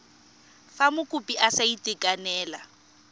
fa mokopi a sa itekanela